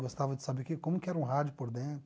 Gostava de saber que como que era um rádio por dentro.